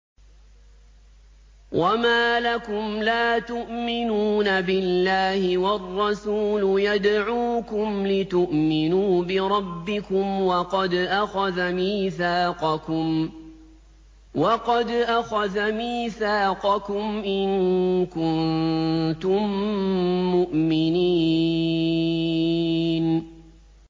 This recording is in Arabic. وَمَا لَكُمْ لَا تُؤْمِنُونَ بِاللَّهِ ۙ وَالرَّسُولُ يَدْعُوكُمْ لِتُؤْمِنُوا بِرَبِّكُمْ وَقَدْ أَخَذَ مِيثَاقَكُمْ إِن كُنتُم مُّؤْمِنِينَ